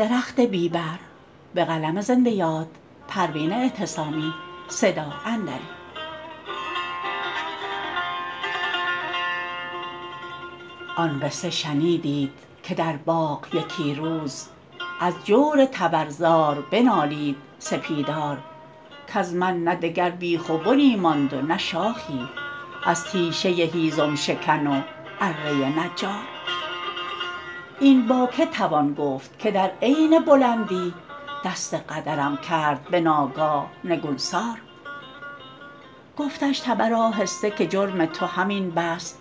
آن قصه شنیدید که در باغ یکی روز از جور تبر زار بنالید سپیدار کز من نه دگر بیخ و بنی ماند و نه شاخی از تیشه هیزم شکن و اره نجار این با که توان گفت که در عین بلندی دست قدرم کرد بناگاه نگونسار گفتش تبر آهسته که جرم تو همین بس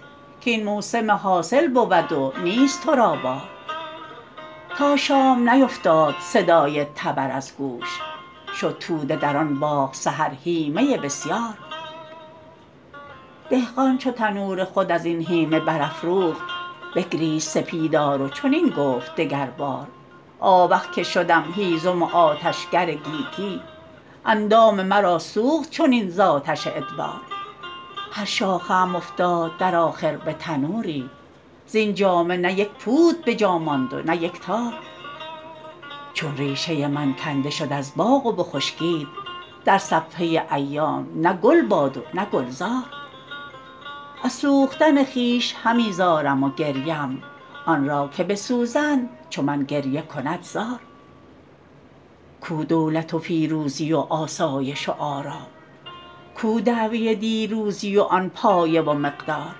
کاین موسم حاصل بود و نیست ترا بار تا شام نیفتاد صدای تبر از گوش شد توده در آن باغ سحر هیمه بسیار دهقان چو تنور خود ازین هیمه برافروخت بگریست سپیدار و چنین گفت دگر بار آوخ که شدم هیزم و آتشگر گیتی اندام مرا سوخت چنین ز آتش ادبار هر شاخه ام افتاد در آخر به تنوری زین جامه نه یک پود بجا ماند و نه یک تار چون ریشه من کنده شد از باغ و بخشکید در صفحه ایام نه گل باد و نه گلزار از سوختن خویش همی زارم و گریم آن را که بسوزند چو من گریه کند زار کو دولت و فیروزی و آسایش و آرام کو دعوی دیروزی و آن پایه و مقدار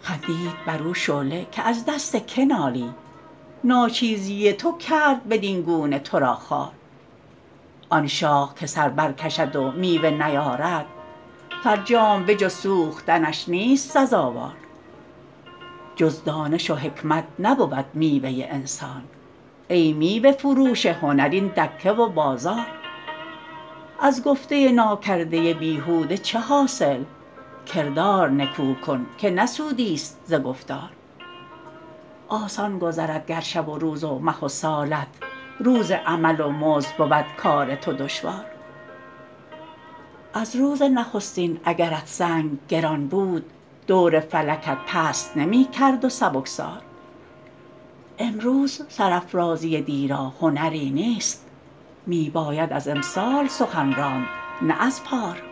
خندید برو شعله که از دست که نالی ناچیزی تو کرد بدینگونه تو را خوار آن شاخ که سر بر کشد و میوه نیارد فرجام به جز سوختنش نیست سزاوار جز دانش و حکمت نبود میوه انسان ای میوه فروش هنر این دکه و بازار از گفته ناکرده بیهوده چه حاصل کردار نکو کن که نه سودیست ز گفتار آسان گذرد گر شب و روز و مه و سالت روز عمل و مزد بود کار تو دشوار از روز نخستین اگرت سنگ گران بود دور فلکت پست نمیکرد و سبکسار امروز سرافرازی دی را هنری نیست میباید از امسال سخن راند نه از پار